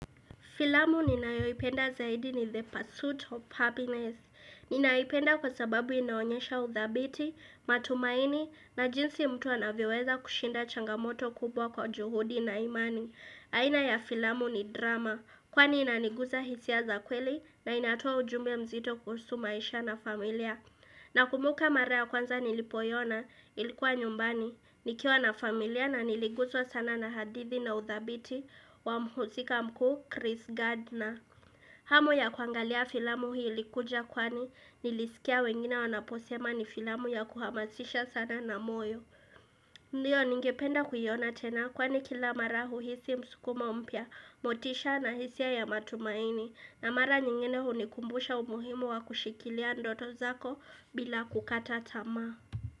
Filamu ninayoipenda zaidi ni the pursuit of happiness. Ninaipenda kwa sababu inaonyesha uthabiti, matumaini, na jinsi mtu anavyoweza kushinda changamoto kubwa kwa juhudi na imani. Aina ya filamu ni drama, kwani inaniguza hisia za kweli na inatoa ujumbe mzito kuhusumaisha na familia. Na kumbuka mara ya kwanza nilipoiona, ilikuwa nyumbani. Nikiwa na familia na niliguswa sana na hadithi na udhabiti wa mhusika mkuu Chris Gardner. Hamu ya kuangalia filamu hii ilikuja kwani nilisikia wengine wanaposema ni filamu ya kuhamasisha sana na moyo. Ndiyo ningependa kuyiona tena kwani kila marahu hisi msukumo mpia, motisha na hisia ya matumaini. Na mara nyingine hunikumbusha umuhimu wa kushikilia ndoto zako bila kukata tamaa.